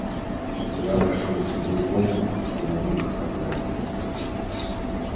я вошёл в другую комнату и на миг оторопел